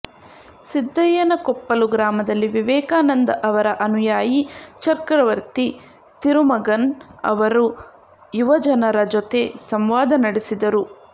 ಸಿದ್ದಯ್ಯನಕೊಪ್ಪಲು ಗ್ರಾಮದಲ್ಲಿ ವಿವೇಕಾನಂದ ಅವರ ಅನುಯಾಯಿ ಚಕ್ರವರ್ತಿ ತಿರುಮಗನ್ ಅವರು ಯುವಜನರ ಜೊತೆ ಸಂವಾದ ನಡೆಸಿದರು